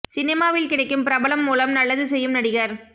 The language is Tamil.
சினிமாவில் கிடைக்கும் பிரபலம் மூலம் நல்லது செய்யும் நடிகர்